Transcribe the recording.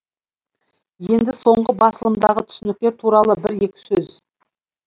енді соңғы басылымдағы түсініктер туралы бір екі сөз